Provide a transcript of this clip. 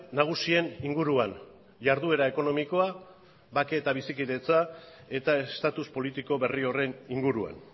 nagusien inguruan jarduera ekonomikoa bake eta bizikidetza eta estatus politiko berri horren inguruan